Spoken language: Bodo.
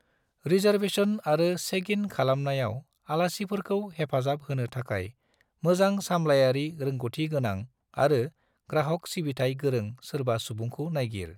रिसार्बेस'न आरो चेक-इन खालामनायाव आलासिफोरखौ हेफाजाब होनो थाखाय मोजां सामलायारि रोंग'थि गोनां आरो ग्राहक सिबिथाइ गोरों सोरबा सुबुंखौ नायगिर।